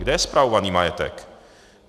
Kde je spravovaný majetek?